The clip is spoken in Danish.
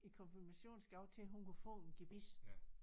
I konfirmationsgave til hun kunne få en gebis